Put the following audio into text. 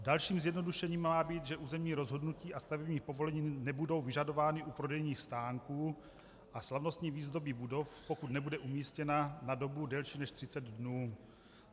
Dalším zjednodušením má být, že územní rozhodnutí a stavební povolení nebudou vyžadována u prodejních stánků a slavnostní výzdoby budov, pokud nebude umístěna na dobu delší než 30 dnů.